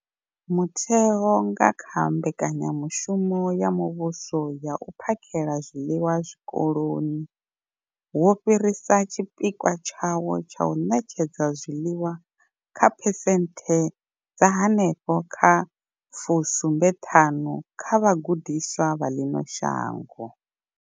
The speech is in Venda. Mutheo, nga kha Mbekanya mushumo ya Muvhuso ya U phakhela zwiḽiwa Zwikoloni, wo fhirisa tshipikwa tshawo tsha u ṋetshedza zwiḽiwa kha phesenthe dza henefho kha 75 dza vhagudiswa vha ḽino shango.